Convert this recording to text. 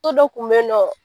O dɔ tun be ye nɔ